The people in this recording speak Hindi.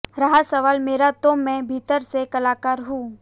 रहा सवाल मेरा तो मैं भीतर से कलाकार हूं